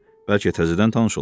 Bəlkə təzədən tanış olaq?